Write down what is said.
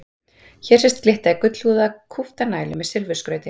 Hér sést glitta í gullhúðaða kúpta nælu með silfurskrauti.